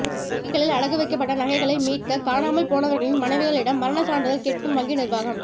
வங்கிகளில் அடகு வைக்கப்பட்ட நகைகளை மீட்க காணாமல் போனவர்களின் மனைவிகளிடம் மரணச் சான்றிதழ் கேட்கும் வங்கி நிர்வாகம்